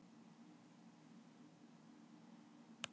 þéttleiki keilna er mestur í miðgróf sjónu og þar er sjónin skörpust